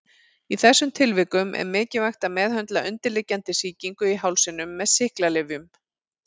Í þessum tilvikum er mikilvægt að meðhöndla undirliggjandi sýkingu í hálsinum með sýklalyfjum.